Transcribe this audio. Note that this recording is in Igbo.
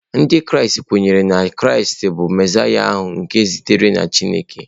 Ndị Kraịst kweere na Kraịst bụ Mesaịa ahụ e zitere site na Chineke.